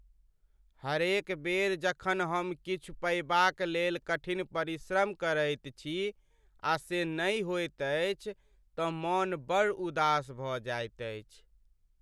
हरेक बेर जखन हम किछु पयबाक लेल कठिन परिश्रम करैत छी आ से नहि होइत अछि तँ मन बड़ उदास भऽ जाइत अछि।